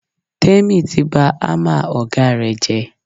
Tèmi ti bá hámà ọ̀gá rẹ̀ jẹ́.